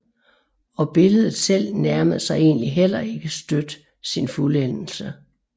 Og billedet selv nærmede sig egentlig heller ikke støt sin fuldendelse